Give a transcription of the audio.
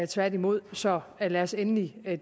tværtimod så lad os endelig